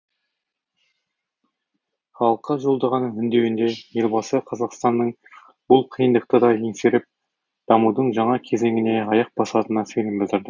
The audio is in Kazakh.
халыққа жолдаған үндеуінде елбасы қазақстанның бұл қиындықты да еңсеріп дамудың жаңа кезеңіне аяқ басатынына сенім білдірді